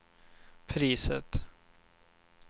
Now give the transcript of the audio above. priset